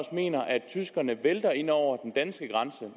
mener at tyskerne vælter ind over den danske grænse